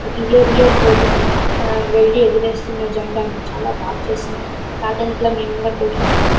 Year year పోతున్నాం. ఆ వెళ్లి ఎగరెస్తున్నాం జెండాను. చాలా బాగా చేస్తున్నారు. మా పాత ఇంట్లో మేము కూడా పోతుంటిమి .